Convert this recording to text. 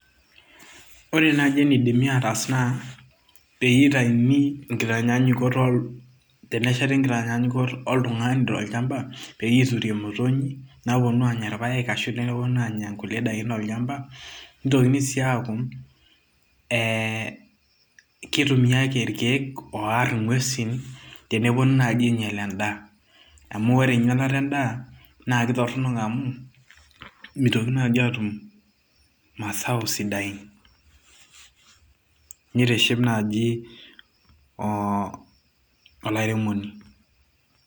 ore naaji enidimi ataas naa peyie eitaini inkitanyaanyukot tenesheti inkitanyanyukot oltung'ani tolchamba peyie iture imotonyik naaponu aanya irpayek ashu idim neponu aanya nkulie daikin tolchamba nitokini sii aaku ee kitumiake irkeek oorr ing'uesin teneponu naaji ainyial endaa amu ore einyialata endaa naa kitorronok amuu mitokinini naaji atum masao sidain nitiship naaji oo olairemoni.